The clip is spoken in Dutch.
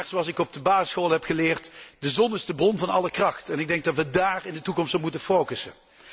Maar zoals ik op de basisschool heb geleerd de zon is de bron van alle kracht en ik denk dat we daar in de toekomst op moeten focussen.